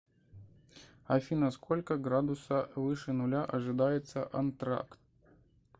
афина сколько градуса выше нуля ожидается антракт